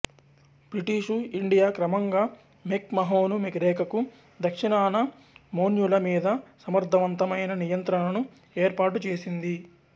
British India McMahon మహోను రేఖకు దక్షిణాన మోన్యూల మీద సమర్థవంతమైన నియంత్రణను ఏర్పాటు చేసింది